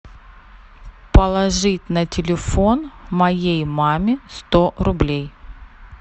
положить на телефон моей маме сто рублей